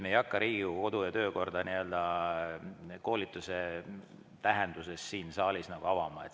Me ei hakka Riigikogu kodu‑ ja töökorda koolituse eesmärgiga siin saalis avama.